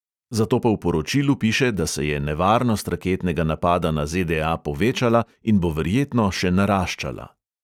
Zato pa v poročilu piše, da se je nevarnost raketnega napada na ZDA povečala in bo verjetno še naraščala.